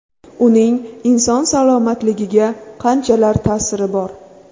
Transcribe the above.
Uning inson salomatligiga qanchalar ta’siri bor?